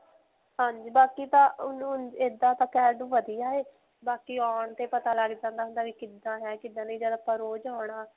ਹਾਂਜੀ. ਬਾਕੀ ਤਾਂ ਐਦਾਂ ਤਾਂ ਕਹਿਣ ਨੂੰ ਵਧੀਆ ਹੈ. ਬਾਕੀ ਆਉਣ ਤੇ ਪਤਾ ਲੱਗ ਜਾਂਦਾ ਹੁੰਦਾ ਵੀ ਕਿੱਦਾਂ ਹੈ ਕਿੱਦਾਂ ਨਹੀਂ. ਜਦ ਆਪਾਂ ਰੋਜ ਆਉਣਾ.